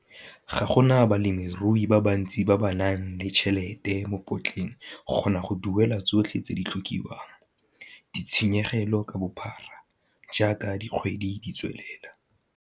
Ga go na balemirui ba bantsi ba ba nang tšhelete mo potleng go kgona go duela tsotlhe tse di tlhokiwang ditshenyegelo ka bophara jaaka dikgwedi di tswelela.